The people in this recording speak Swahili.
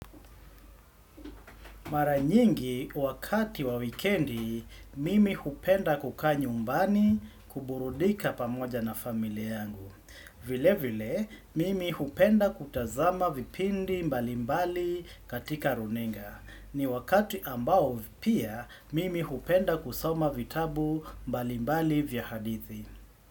Maranyingi wakati wa wikendi, mimi hupenda kukaa nyumbani kuburudika pamoja na familia yangu. Vile vile, mimi hupenda kutazama vipindi mbalimbali katika runinga. Ni wakati ambao vipia, mimi hupenda kusoma vitabu mbalimbali vya hadithi.